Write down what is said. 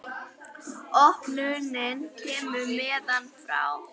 Opnunin kemur neðan frá.